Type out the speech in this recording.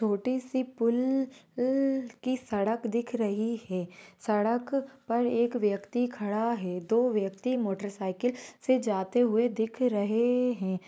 छोटी सी पुल उल की सड़क दिख रही है सड़क पर एक व्यक्ति खड़ा है दो व्यक्ति मोटर साइकिल से जाते हुए दिख रहे हैं।